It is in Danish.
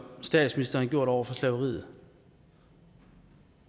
statsministeren har gjort over for slaveriet